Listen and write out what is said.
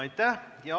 Aitäh!